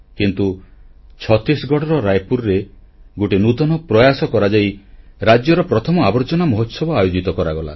କିନ୍ତୁ ଛତିଶଗଡ଼ର ରାୟପୁରରେ ଗୋଟିଏ ନୂତନ ପ୍ରୟାସ କରାଯାଇ ରାଜ୍ୟର ପ୍ରଥମ ଆବର୍ଜନା ମହୋତ୍ସବ ଆୟୋଜିତ କରାଗଲା